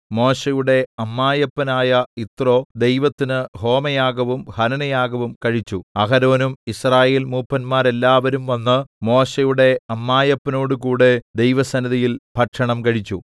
മോശെയുടെ അമ്മായപ്പനായ യിത്രോ ദൈവത്തിന് ഹോമയാഗവും ഹനനയാഗവും കഴിച്ചു അഹരോനും യിസ്രായേൽമൂപ്പന്മാരെല്ലാവരും വന്ന് മോശെയുടെ അമ്മായപ്പനോടുകൂടെ ദൈവസന്നിധിയിൽ ഭക്ഷണം കഴിച്ചു